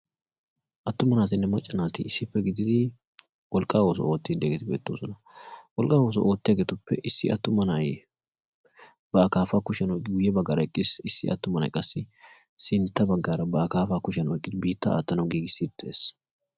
attuma naatinne macca naati issippe gididi wolqqaa wooso oottididdegeti beettoosona. wolqqaa ooso ootti hageetuppe issi attuma nay ba akaafaa kushiyan uyye baggaara eqqiis issi attumanai qassi sintta baggaara ba akaafaa kushiyan eqqidi biittaa aattanawu giigissi dees